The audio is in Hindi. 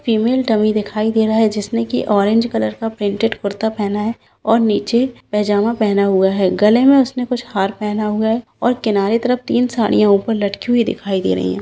फीमेल डमी दिखाई दे रहा है जिसमें की ओरेंज कलर का प्रिंटेड कुर्ता पहना है और नीचे पजामा पहना हुआ है गले मे उसने कुछ हार पहना हुआ है किनारे तरफ तीन साड़ीयां ऊपर लटकी हुई दिखाई दे रही है।